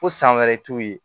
Ko san wɛrɛ t'u ye